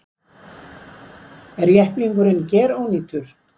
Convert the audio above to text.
Er jepplingurinn gerónýtur